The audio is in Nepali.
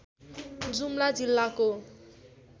जुम्ला जिल्लाको